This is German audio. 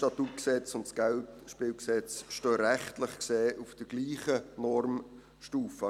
Das SStG und das KGSG stehen rechtlich gesehen auf der gleichen Normstufe.